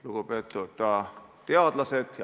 Lugupeetud teadlased!